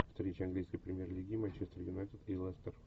встреча английской премьер лиги манчестер юнайтед и лестер